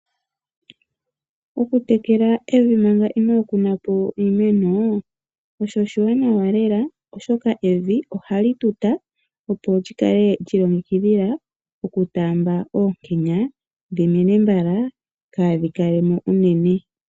Okutekela evi manga ino kunapo iimene osho oshiwanawa lela oshoka evi ohali tuta opo lyikale lyiilongekidhila okutaamba oonkenya dhimene mbala kaadhi kalemo uunene.